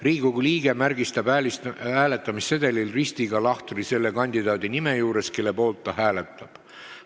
Riigikogu liige märgistab hääletamissedelil ristiga lahtri selle kandidaadi nime juures, kelle poolt ta hääletab.